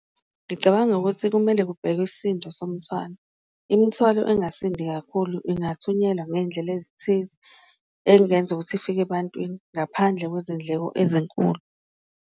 Ngicabanga ukuthi kumele kubhekwe isindo somnthwalo, imithwalo engasindi kakhulu ingathunyelwa ngeyindlela ezithize eyingenza ukuthi ifike ebantwini ngaphandle kwezindleko ezinkulu.